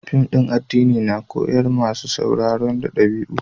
Fim na addini na koyars ma masun sauraro da dabi'u.